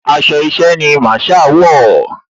Aṣọ iṣẹ́ ni Masaa wọ̀